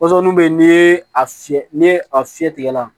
Pɔsɔni bɛ yen n'i ye a fiyɛ ni a fiyɛ tigɛ la